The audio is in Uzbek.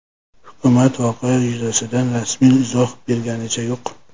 Hukumat voqea yuzasidan rasmiy izoh berganicha yo‘q.